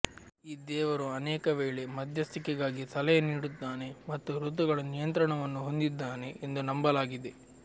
ಈ ದೇವರು ಅನೇಕವೇಳೆ ಮಧ್ಯಸ್ಥಿಕೆಗಾಗಿ ಸಲಹೆ ನೀಡುತ್ತಾನೆ ಮತ್ತು ಋತುಗಳ ನಿಯಂತ್ರಣವನ್ನು ಹೊಂದಿದ್ದಾನೆ ಎಂದು ನಂಬಲಾಗಿದೆ